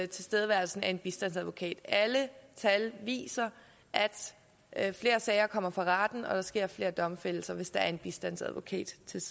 tilstedeværelsen af en bistandsadvokat alle tal viser at flere sager kommer for retten og at der sker flere domfældelser hvis der er en bistandsadvokat til